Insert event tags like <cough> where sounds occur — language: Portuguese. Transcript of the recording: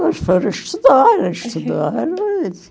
Elas foram estudar, elas estudaram. <unintelligible>